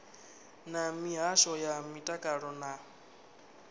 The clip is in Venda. na mihasho ya mutakalo na